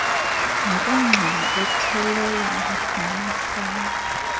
nokugxama athelelane namafama